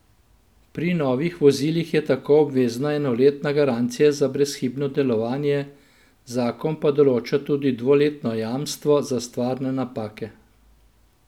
Pri novih vozilih je tako obvezna enoletna garancija za brezhibno delovanje, zakon pa določa tudi dvoletno jamstvo za stvarne napake.